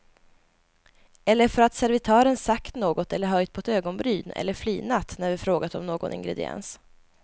Eller för att servitören sagt något eller höjt på ett ögonbryn eller flinat när vi frågat om någon ingrediens.